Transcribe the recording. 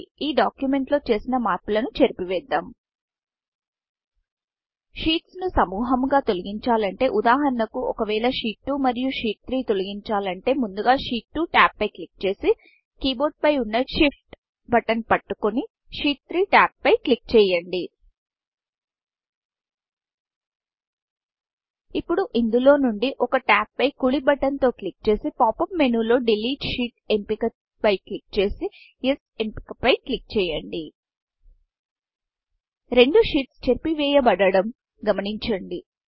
ఈ డాక్యుమెంట్ లో చేసిన మార్పులను చేరిపివేద్దాం షీట్స్ ను సముహముగా తొలగించాలంటే ఉదాహరణకు ఒకవేళ షీట్ 2 షీట్ 2 మరియు షీట్ 3 షీట్ 3 తొలగించాలంటే ముందుగా షీట్ 2 షీట్ 2 tab ట్యాబ్పై క్లిక్చేసి keyboardకీబోర్డ్ పై వున్న Shift బటన్ షిఫ్ట్ బటన్పట్టుకొని షీట్ 3టాబ్ షీట్ 3ట్యాబ్పై క్లిక్ చేయండి ఇప్పుడు ఇందులోనుండి ఒక tabట్యాబ్ పై కుడి బటన్ తో క్లిక్ చేసి pop యూపీ menuలో పాప్ అప్ మేనుDelete షీట్ ఎంపిక పై క్లిక్ చేసి Yesఎస్ ఎంపిక పై క్లిక్ చేయండి రెండు షీట్స్ చెరిపి వెయ బడడం గమనించండి